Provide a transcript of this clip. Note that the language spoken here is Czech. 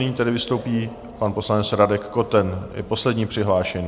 Nyní tedy vystoupí pan poslanec Radek Koten, je poslední přihlášený.